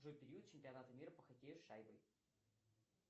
джой период чемпионата мира по хоккею с шайбой